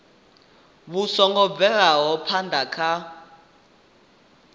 vhu songo bvelaho phana kha